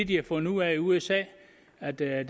de har fundet ud af i usa er at der er